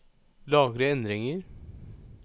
Lagre endringer